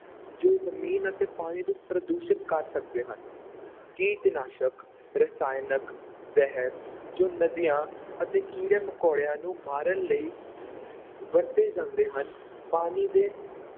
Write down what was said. ਜੋ ਜ਼ਮੀਨ ਅਤੇ ਪਾਣੀ ਨੂੰ ਪ੍ਰਦੂਸ਼ਿਤ ਕਰ ਸਕਦੇ ਹਨ ਕੀਟਨਾਸ਼ਕ, ਰਸਾਇਣਕ ਜ਼ਹਿਰ ਜੋ ਨਦੀਆਂ ਅਤੇ ਕੀੜੇ-ਮਕੌੜਿਆਂ ਨੂੰ ਮਾਰਨ ਲਈ ਵਰਤੇ ਜਾਂਦੇ ਹਨ, ਪਾਣੀ ਦੇ